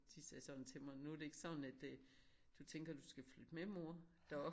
De sagde sådan til mig nu det ikke sådan at øh du tænker du skal flytte med mor der op?